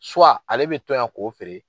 ale bɛ to yan k'o feere